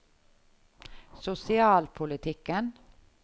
sosialpolitikken